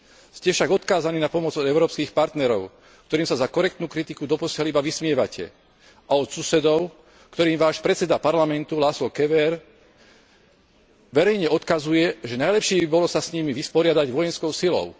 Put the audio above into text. Ste však odkázaný na pomoc európskych partnerov, ktorým sa za korektnú kritiku doposiaľ iba vysmievate, a od susedov, ktorým Váš predseda parlamentu Lázsló Kövér verejne odkazuje, že najlepšie by bolo sa s nimi vysporiadať vojenskou silou.